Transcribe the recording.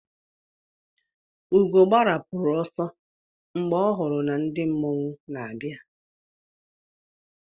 Ugo gbarapụrụ ọsọ mgbe ọ hụrụ ka ndị mmọnwụ n'abịa.